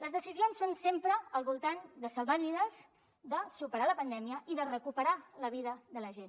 les decisions són sempre al voltant de salvar vides de superar la pandèmia i de recuperar la vida de la gent